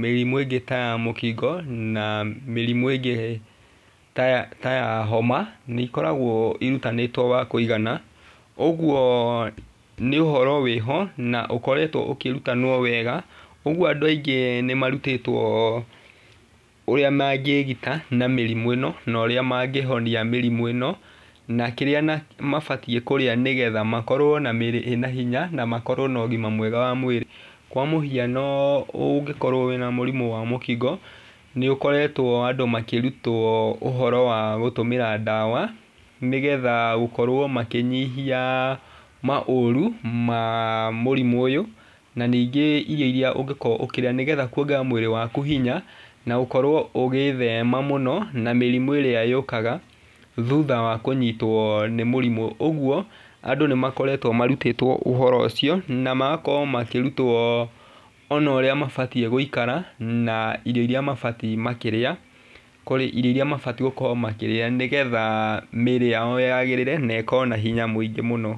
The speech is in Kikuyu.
mĩrimũ ĩngĩ ta ya mũkingo na mĩrimũ ĩngĩ ta ya, ta ya homa nĩikoragwo ĩrutanĩtwo wa kũigana. Ũguo nĩ ũhoro wĩho na ũkoretwo ũkĩrutanwo wega. Ũguo andũ aingĩ nĩmarutĩtwo ũrĩa mangĩgita na mĩrimũ ĩno na ũrĩa mangĩhonia mĩrimũ ĩno. Na kĩrĩa mabatiĩ kũrĩa, nĩgetha makorwo na mĩĩrĩ ĩna hinya na makorwo na ũgima mwega wa mwĩrĩ. Kwa mũhiano ũngĩkorwo wĩna mũrimũ wa mũkingo, nĩũkoretwo andũ makĩrutwo ũhoro wa gũtũmĩra ndawa, nĩgetha gũkorwo makĩnyihia maũru ma mũrimũ ũyũ, na ningĩ irio iria ũngĩkorwo ũkĩrĩa, nĩgetha kuongerera mwĩrĩ waku hinya na ngũkorwo ũgĩthema mũno na mĩrimũ ĩrĩa yũkaga thutha wa kũnyitwo nĩ mũrimũ. Ũguo andũ nĩmakoretwo marutĩtwo ũhoro ũcio na magakorwo makĩrutwo ona ũrĩa mabatiĩ gũikara na irio iria mabatiĩ makĩrĩa, irio iria mabatiĩ gũkorwo makĩrĩ,a nĩgetha mĩrĩ yao yagĩrĩre na ĩkorwo na hinya mũno.